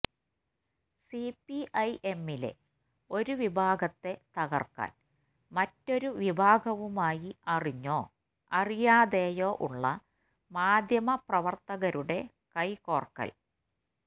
CPI എമ്മിലെ ഒരു വിഭാഗത്തെ തകർക്കാൻ മറ്റൊരു വിഭാഗവുമായി അറിഞ്ഞോ അറിയാതെയോ ഉള്ള മാദ്ധ്യമപ്രവർത്തകരുടെ കൈകോർക്കൽ